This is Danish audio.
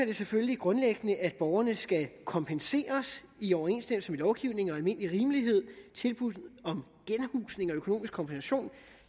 det selvfølgelig grundlæggende at borgerne skal kompenseres i overensstemmelse med lovgivning og almindelig rimelighed og tilbud om genhusning og økonomisk kompensation